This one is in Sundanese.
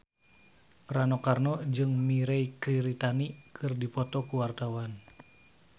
Rano Karno jeung Mirei Kiritani keur dipoto ku wartawan